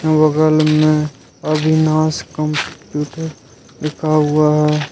बगल में अविनाश लिखा हुआ है।